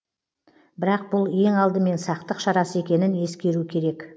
бірақ бұл ең алдымен сақтық шарасы екенін ескеру керек